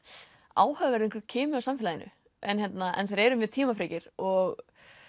áhugaverður kimi af samfélaginu en en þeir eru mjög tímafrekir og